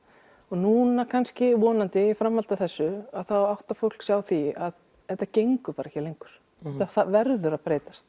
núna kannski vonandi í framhaldi af þessu áttar fólk sig á því að þetta gengur ekki lengur þetta verður að breytast